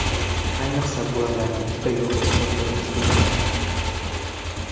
Bu ayniqsa, bolalarga juda yoqib tushadigan uslubdir.